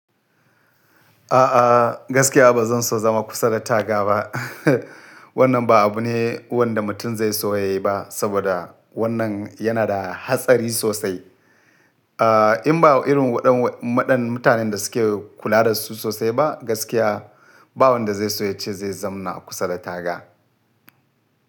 A'a, gaskiya ba zan so zama kusa da taga ba. Wannan ba abu ne wanda mutum zai so ya yi ba, saboda wannan yana da hatsari sosai. Aaa, in ba irin waɗan maɗan mutanen da suke kula da su sosai ba, gaskiya ba wanda zai so ya ce zai zamna kusa da taga.